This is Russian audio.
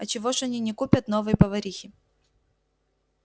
а чего ж они не купят новой поварихи